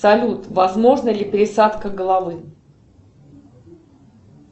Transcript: салют возможна ли пересадка головы